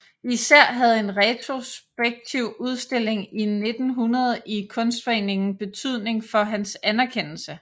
Især havde en retrospektiv udstilling 1900 i Kunstforeningen betydning for hans anerkendelse